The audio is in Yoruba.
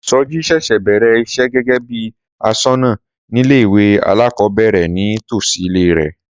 Sọjí ṣẹ̀ṣẹ̀ bẹ̀rẹ̀ iṣẹ́ gẹ́gẹ́ bí aṣọ́nà nílé ìwé alákọ̀ọ́bẹ̀rẹ̀ ní tòsí ilé rẹ̀